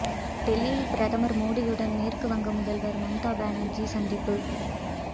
டெல்லியில் பிரதமர் மோடியுடன் மேற்கு வங்க முதல்வர் மம்தா பானர்ஜி சந்திப்பு